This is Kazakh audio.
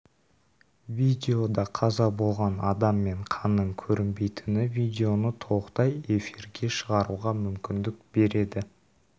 видеода қаза болған адам мен қанның көрінбейтіні видеоны толықтай эфирге шығаруға мүмкіндік береді